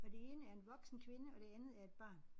Og det ene er en voksen kvinde og det andet er et barn